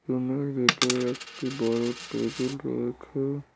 রুমের ভেতর একটি বড় টেবিল রয়েছে।